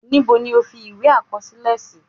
Níbo ni o fi ìwé àkọsílẹ sí?